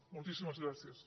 moltíssimes gràcies